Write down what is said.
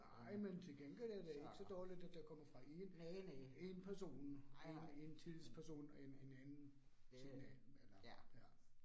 Nej, men til gengæld er det ikke så dårligt, at det kommer fra 1 1 person 1 1 til person, en en anden ved siden af, eller ja